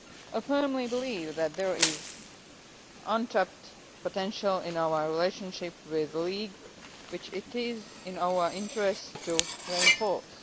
I firmly believe that there is untapped potential in our relationship with the League, which is in our interest to reinforce.